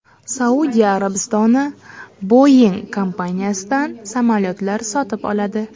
Saudiya Arabistoni Boeing kompaniyasidan samolyotlar sotib oladi.